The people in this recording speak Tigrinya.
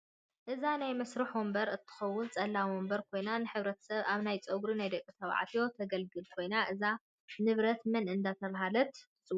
እዛ ናይ መስርሕ ወንበር እንትከውን ፀላም ወንበር ኮይና ንረተሰብ ኣብ ናይ ፅግሩ ናይ ደቂ ተባዕትዮ ትግልግል ኮይና እዛ ንብረት መን እዳተባሃለት ትፅዋዕ?